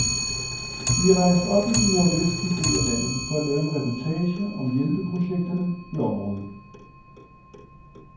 Vi er rejst op i den nordvestlige del af landet for at lave en reportage om hjælpeprojekterne i området.